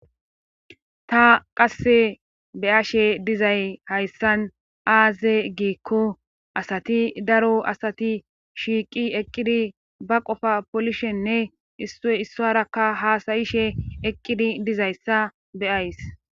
Ta qasse beyashe dizay hayssan aaze giikko asati daro asati shiiqi eqqidi ba qofa polishenne iissarakka haasayishe eqqidi dizayssa beyays.